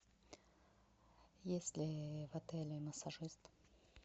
есть ли в отеле массажист